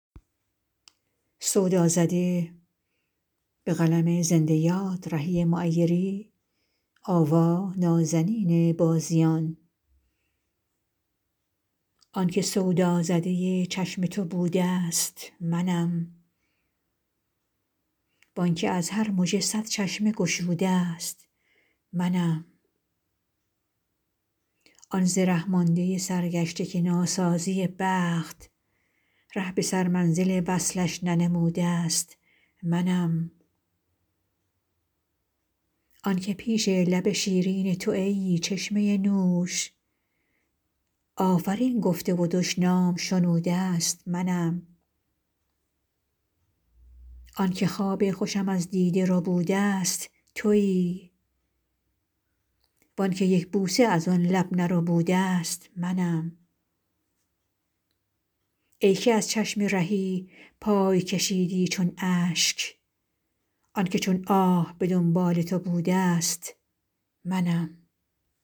آن که سودازده چشم تو بوده است منم وآن که از هر مژه صد چشمه گشوده است منم آن ز ره مانده سرگشته که ناسازی بخت ره به سرمنزل وصلش ننموده است منم آن که پیش لب شیرین تو ای چشمه نوش آفرین گفته و دشنام شنوده است منم آن که خواب خوشم از دیده ربوده است تویی وآن که یک بوسه از آن لب نربوده است منم ای که از چشم رهی پای کشیدی چون اشک آن که چون آه به دنبال تو بوده است منم